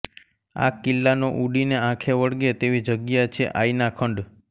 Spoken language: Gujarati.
આ કિલ્લાનો ઊડીને આંખે વળગે તેવી જગ્યા છે આયના ખંડ